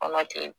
Kɔnɔ ten